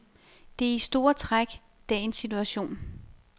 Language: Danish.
Det er i store træk dagens situation.